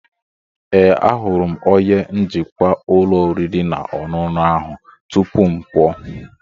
Ee, ahụrụ m onye njikwa ụlọ oriri na ọṅụṅụ ahụ tupu m pụọ.